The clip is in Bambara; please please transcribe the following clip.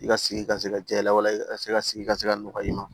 I ka sigi ka se ka jɛ i la walasa i ka se ka sigi ka se ka nɔgɔ i ma